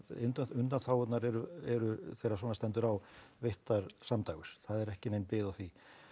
undanþágurnar eru eru þegar svona stendur á veittar samdægurs það er ekki nein bið á því